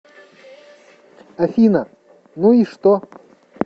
афина ну и что